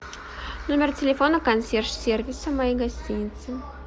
номер телефона консьерж сервиса моей гостиницы